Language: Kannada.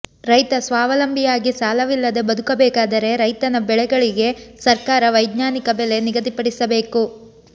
ರೈತ ಸ್ವಾವಲಂಬಿಯಾಗಿ ಸಾಲವಿಲ್ಲದೆ ಬದುಕಬೇಕಾದರೆ ರೈತನ ಬೆಳೆಗಳಿಗೆ ಸರ್ಕಾರ ವೈಜ್ಞಾನಿಕ ಬೆಲೆ ನಿಗಧಿಪಡಿಸಬೇಕು